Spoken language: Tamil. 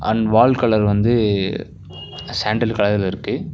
அண்ட் வால் கலர் வந்து சாண்டல் கலர்ல இருக்கு.